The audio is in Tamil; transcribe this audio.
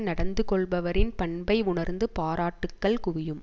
நடந்து கொள்பவரின் பண்பை உணர்ந்து பாராட்டுகள் குவியும்